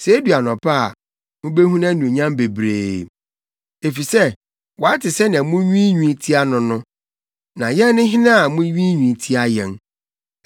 Sɛ edu anɔpa a, mubehu nʼanuonyam bebree; efisɛ wate sɛnea munwiinwii tia no no. Na yɛn ne hena a munwiinwii tia yɛn?